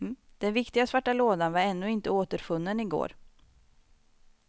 Den viktiga svarta lådan var ännu inte återfunnen i går.